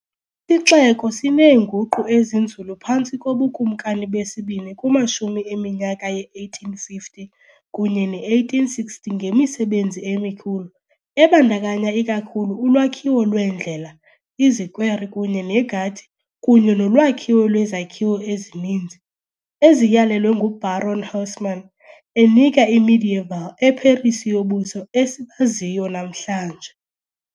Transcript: ixeko sineenguqu ezinzulu phantsi kobukumkani besibini kumashumi eminyaka ye-1850 kunye ne-1860 ngemisebenzi emikhulu ebandakanya ikakhulu ulwakhiwo lweendlela, izikwere kunye negadi kunye nolwakhiwo lwezakhiwo ezininzi, eziyalelwe nguBaron Haussmann, enika I-medieval eParis yobuso esibaziyo namhlanje.